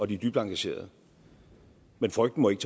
de er dybt engagerede men frygten må ikke